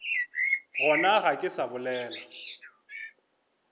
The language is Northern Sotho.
gona ga ke sa bolela